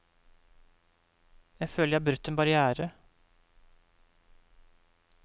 Jeg føler jeg har brutt en barriere.